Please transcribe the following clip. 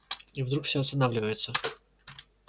и вдруг все останавливаются